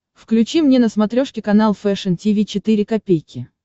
включи мне на смотрешке канал фэшн ти ви четыре ка